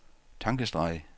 tankestreg